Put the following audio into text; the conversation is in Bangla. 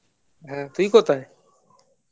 হ্যাঁ তুই কোথায়